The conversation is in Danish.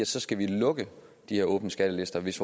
så skal lukke de her åbne skattelister hvis